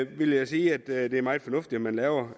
vil jeg sige at det er meget fornuftigt at man laver